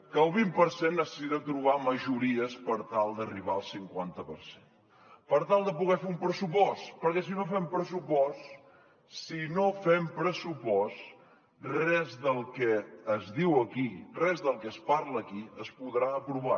que el vint per cent necessita trobar majories per tal d’arribar al cinquanta per cent per tal de poder fer un pressupost perquè si no fem pressupost si no fem pressupost res del que es diu aquí res del que es parla aquí es podrà aprovar